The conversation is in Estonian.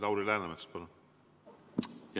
Lauri Läänemets, palun!